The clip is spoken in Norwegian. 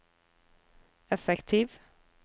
effektiv